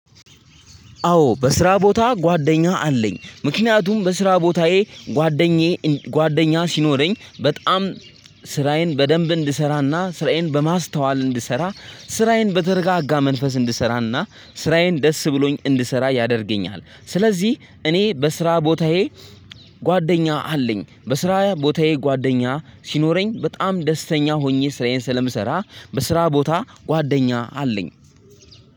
አዎ በስራ ቦታ ጓደኛ አለኝ ምክንያቱም በስራ ቦታዬ ጓደኛዬ ጓደኛ ሲኖረኝ በጣም ስራዬን በደንብ እንድሰራና ስራዬን በማስተዋል እንድሰራ ስራዬን በተረጋጋ መንፈስ እንድሰራና ስራዬን ደስ ብሎኝ እንድሰራ ያደርገኛል። ስለዚህ እኔ በስራ ቦታዬ ጓደኛ አለኝ በስራ ቦታዬ ጓደኛ ሲኖረኝ በጣም ደስተኛ ሆኜ ስራዬን ስለምሰራ። በስራ ቦታ ጓደኛ አለኝ።